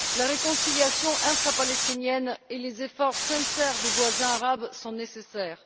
La réconciliation intra palestinienne et les efforts sincères des voisins arabes sont nécessaires.